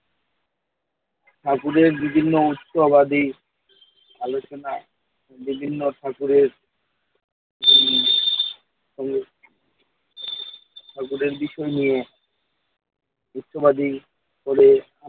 ঠাকুরের বিভিন্ন উৎসবাদী আলোচনা বিভিন্ন ঠাকুরের এই হলো ঠাকুরের বিষয় নিয়ে উৎসবাদী করে,